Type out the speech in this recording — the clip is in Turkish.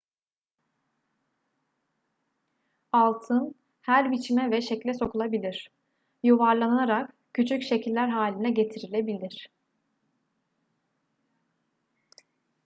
altın her biçime ve şekle sokulabilir yuvarlanarak küçük şekiller haline getirilebilir